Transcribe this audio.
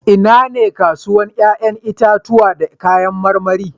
Inane kasuwar 'ƴa'ƴan itatuwa da kayan marmari?